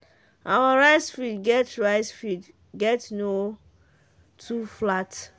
our rice field get rice field get no too flat